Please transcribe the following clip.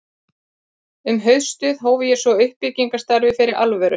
Um haustið hóf ég svo uppbyggingarstarfið fyrir alvöru.